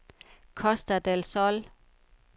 Costa del Sol